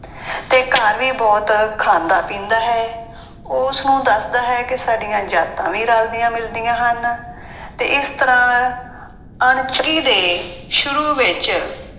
ਤੇ ਘਰ ਵੀ ਬਹੁਤ ਖਾਂਦਾ ਪੀਂਦਾ ਹੈ ਉਹ ਉਸਨੂੰ ਦੱਸਦਾ ਹੈ ਕਿ ਸਾਡੀਆਂ ਜਾਤਾਂ ਵੀ ਰਲਦੀਆਂ ਮਿਲਦੀਆਂ ਹਨ ਤੇ ਇਸ ਤਰ੍ਹਾਂ ਦੇ ਸ਼ੁਰੂ ਵਿੱਚ